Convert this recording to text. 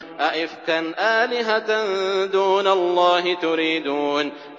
أَئِفْكًا آلِهَةً دُونَ اللَّهِ تُرِيدُونَ